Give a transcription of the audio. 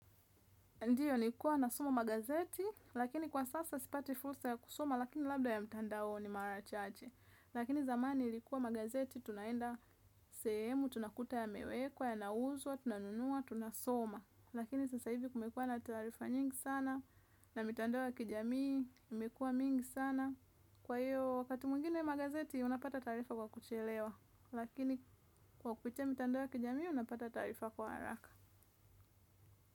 Ndiyo nilikuwa nasoma magazeti, lakini kwa sasa sipati fursa ya kusoma, lakini labda ya mtandaoni mara chache. Lakini zamani ilikuwa magazeti, tunaenda sehemu, tunakuta yamewekwa, yanauzwa, tunanunua, tunasoma. Lakini sasa hivi kumekuwa na taarifa nyingi sana, na mitandao ya kijamii, imekuwa mingi sana. Kwa hiyo, wakati mwingine magazeti, unapata taarifa kwa kuchelewa, lakini kwa kupitia mitandao ya kijamii, unapata taarifa kwa haraka.